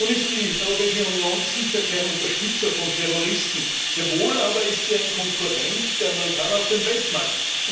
Nun ist die Europäische Union sicher kein Unterstützer von Terroristen, sehr wohl aber ist sie ein Konkurrent der Amerikaner auf dem Weltmarkt.